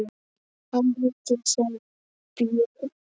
Hann heitir sem björn.